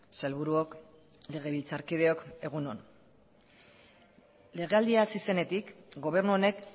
sailburuok legebiltzarkideok egun on legealdia hasi zenetik gobernu honek